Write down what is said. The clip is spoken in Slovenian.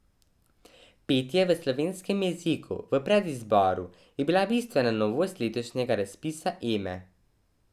Petje v slovenskem jeziku v predizboru je bila bistvena novost letošnjega razpisa Eme.